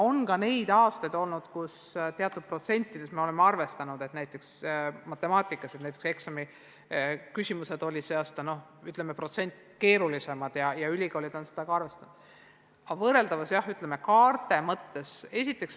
On olnud ka neid aastaid, kui oleme teatud protsentides välja arvutanud, et näiteks matemaatikaeksami küsimused olid sel aastal protsendi võrra keerulisemad, ja ülikoolid on seda arvestanud.